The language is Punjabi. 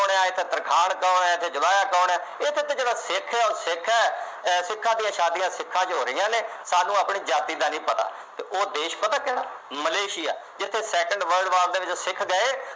ਕੌਣ ਹੈ ਇੱਥੇ ਤਰਖਾਣ ਕੌਣ ਹੈ, ਇੱਥੇ ਜਵਾਇਆਂ ਕੌਣ ਹੈ, ਇਹਦੇ ਚ ਜਿਹੜਾ ਸਿੱਖ ਹੈ, ਉਹ ਸਿੱਖ ਹੈ, ਅਹ ਸਿੱਖਾਂ ਦੀਆਂ ਸ਼ਾਦੀਆਂ ਸਿੱਖਾਂ ਚ ਹੋ ਰਹੀਆ ਨੇ, ਸਾਨੂੰ ਆਪਣੀ ਜਾਤੀ ਦਾ ਨਹੀਂ ਪਤਾ ਅਤੇ ਉਹ ਦੇਸ਼ ਪਤਾ ਕਿਹੜਾ, ਮਲੇਸ਼ੀਆ, ਜਿੱਥੇ second world war ਦੇ ਵਿੱਚ ਸਿੱਖ ਗਏ।